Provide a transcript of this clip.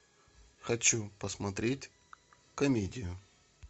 хочу посмотреть комедию